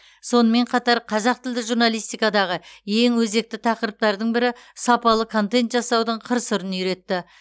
сонымен қатар қазақ тілді журналистикадағы ең өзекті тақырыптардың бірі сапалы контент жасаудың қыр сырын үйретті